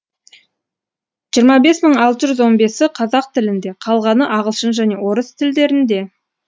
жиырма бес мың алты жүз он бесі қазақ тілінде қалғаны ағылшын және орыс тілдерінде